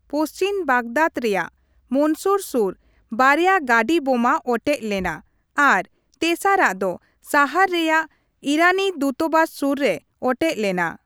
ᱯᱚᱪᱷᱤᱢ ᱵᱟᱜᱽᱫᱟᱫᱽ ᱨᱮᱭᱟᱜ ᱢᱚᱱᱥᱩᱨ ᱥᱩᱨ ᱵᱟᱨᱭᱟ ᱜᱟᱸᱹᱰᱤ ᱵᱳᱢᱟ ᱚᱴᱮᱡ ᱞᱮᱱᱟ ᱟᱨ ᱛᱮᱥᱟᱨᱟᱜ ᱫᱚ ᱥᱟᱦᱟᱨ ᱨᱮᱭᱟᱜ ᱤᱨᱟᱱᱤ ᱫᱩᱛᱵᱟᱥ ᱥᱩᱨ ᱨᱮ ᱚᱴᱮᱡ ᱞᱮᱱᱟ ᱾